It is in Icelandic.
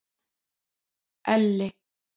Elli